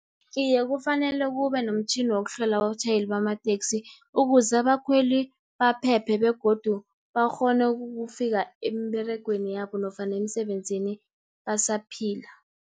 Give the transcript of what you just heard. Iye, kufanele kube nomtjhini wokuhlola abatjhayeli bamateksi, ukuze abakhweli baphephe, begodu bakghone ukufika emberegweni yabo, nofana emisebenzini basaphila.